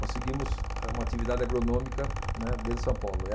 Conseguimos eh uma atividade agronômica, né, dentro de São Paulo.